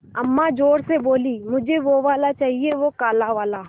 अम्मा ज़ोर से बोलीं मुझे वो वाला चाहिए वो काला वाला